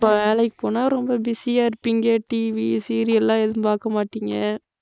வேலைக்கு போனா ரொம்ப busy ஆ இருப்பீங்க TVserial எல்லாம் எதுவும் பாக்க மாட்டீங்க.